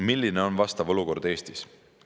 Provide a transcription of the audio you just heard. Milline on vastav olukord Eestis?